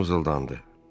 Partos mızıldandı.